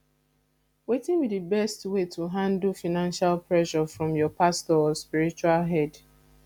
wetin be di best way to handle financial pressure from your pastor or spiritual head